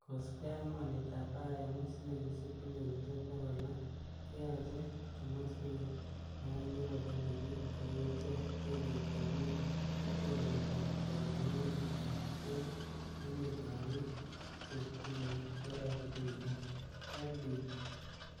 Kosiibge ak mornetab IMF, silingisiek bilionisiek bogol loo keyoche komoswek oeng chebo kompunit, kou ichek, benkitab ngwony ak benkitab kolongunetet en emetab bik che tuen(AfDB).